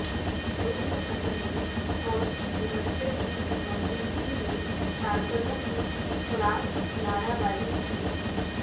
رکن اسمبلی اور مبصر کی موجودگی میں کارکنوں کی خلاف نعرہ بازی کی